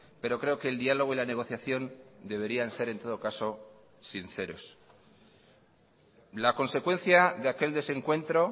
pero creo que el diálogo y la negociación deberían ser en todo caso sinceros la consecuencia de aquel desencuentro